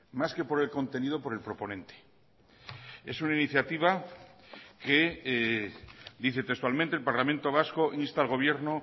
más que por el contenido por el proponente es una iniciativa que dice textualmente el parlamento vasco insta al gobierno